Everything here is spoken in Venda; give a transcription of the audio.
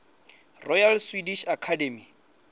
royal swedish academy